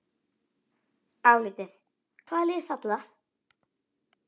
Álitið: Hvaða lið falla?